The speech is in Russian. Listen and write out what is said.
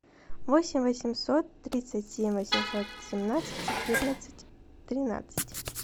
восемь восемьсот тридцать семь восемьсот семнадцать четырнадцать тринадцать